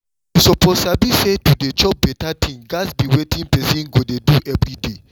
you suppose sabi say to dey chop better thing gats be wetin person go dey do every day